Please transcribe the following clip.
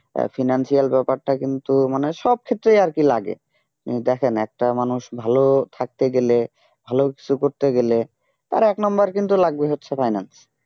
financial ব্যাপারটা কিন্তু মানে সব ক্ষেত্রে ইয়ার্কি লাগে দেখেন একটা মানুষ ভালো থাকতে গেলে ভালো কিছু করতে গেলে তার এক নাম্বার কিন্তু লাগবে হচ্ছে finance